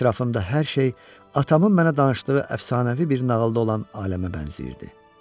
Ətrafımda hər şey atamın mənə danışdığı əfsanəvi bir nağılda olan aləmə bənzəyirdi.